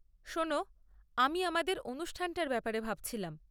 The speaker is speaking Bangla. শোনো, আমি আমাদের অনুষ্ঠানটার ব্যাপারে ভাবছিলাম।